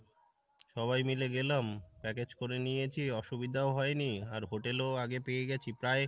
সবাই মিলে গেলাম package করে নিয়েছি অসুবিধাও হয় নি আর hotel ও আগে পেয়ে গেছি প্রায়